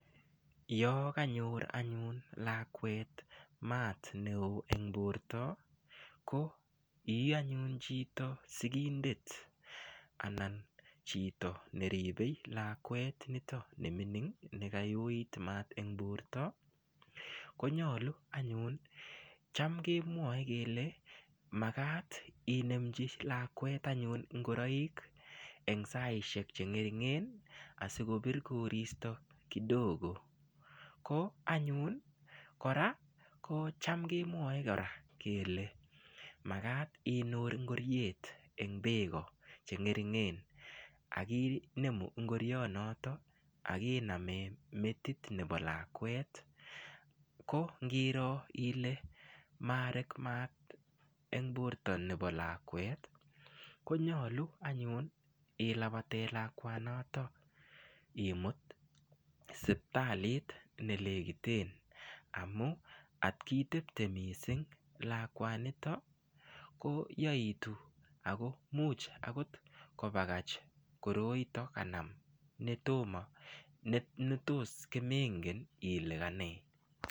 Yo kanyor anyun lakwet maat ne oo eng borta, ko ii anyun chito sigindet anan chito neribe lakwet nito ne mining nekayoit maat eng borta, konyalu anyun cham kemwoe kele, makat inemchi lakwet anyun ingoroik eng saisiek che ngeringen asikobir koristo kidogo, ko anyun kora kocham kemwoe kora kele makat inur ingoriet eng beko che ngeringen ak inemu ingorionoto ak iname metit nebo lakwet, ko ngiro ile marek maat eng borta nebo lakwet, konyalu anyun ilabate lakwanata imut sipitalit ne lekite, amu atkitepte mising lakwanito, ko yaitu ako much akot kobakach koroito kanam netos komengen ile kanee.